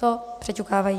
To přeťukávají.